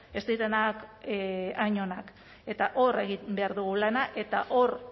ez direnak hain onak eta hor egin behar dugu lana eta hor